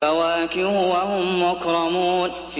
فَوَاكِهُ ۖ وَهُم مُّكْرَمُونَ